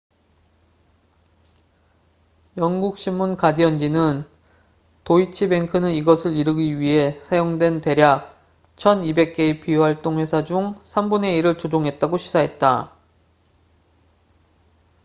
영국 신문 가디언지는 도이치 뱅크는 이것을 이루기 위해 사용된 대략 1200개의 비활동 회사 중 삼 분의 일을 조종했다고 시사했다